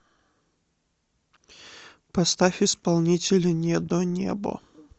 поставь исполнителя недонебо